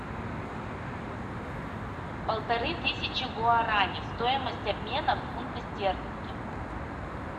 полторы тысячи гуарани стоимость обмена в фунты стерлинги